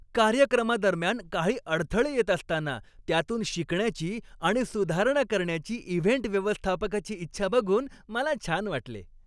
कार्यक्रमादरम्यान काही अडथळे येत असताना, त्यातून शिकण्याची आणि सुधारणा करण्याची इव्हेंट व्यवस्थापकाची इच्छा बघून मला छान वाटले.